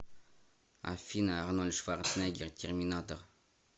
афина арнольд шварценеггер терминатор